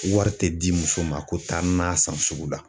Wari tɛ di muso ma ko taa n'a san sugu la.